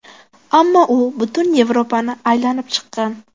Ammo u butun Yevropani aylanib chiqqan.